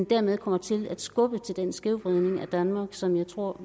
derved kommer til at skubbe til den skævvridning af danmark som jeg tror